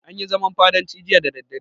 An yi zaman fadancin jiya da daddare.